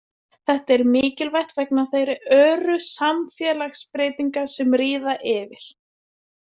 Þetta er mikilvægt vegna þeirra öru samfélagsbreytinga sem ríða yfir.